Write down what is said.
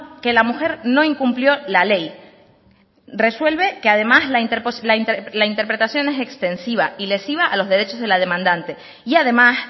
que la mujer no incumplió la ley resuelve que además la interpretación es extensiva y lesiva a los derechos de la demandante y además